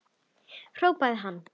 hrópaði hann.